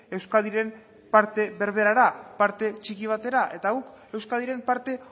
euskadiren parte berberera parte txiki batera eta guk euskadiren parte